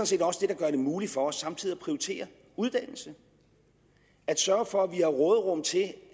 set også det der gør det muligt for os samtidig at prioritere uddannelse at sørge for at vi har råderum til det